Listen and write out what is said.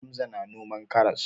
Hamza na noman karas.